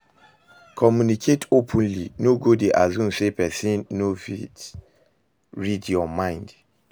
Communicate openly, no go dey assume say pesin go fit read yur mind